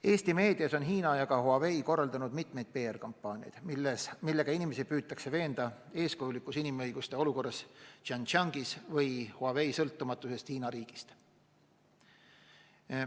Eesti meedias on Hiina ja Huawei korraldanud mitu PR‑kampaaniat, millega inimesi püütakse veenda eeskujulikus inimõiguste olukorras Xinjiangis või Huawei sõltumatuses Hiina riigist.